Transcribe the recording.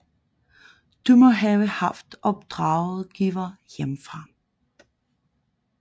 De må have haft opdragsgivere hjemmefra